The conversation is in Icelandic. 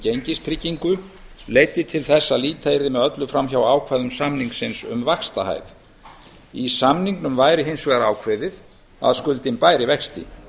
gengistryggingu leiddi til þess að líta yrði með öllu fram hjá ákvæðum samningsins um vaxtahæð í samningnum væri hins vegar ákveðið að skuldin bæri vexti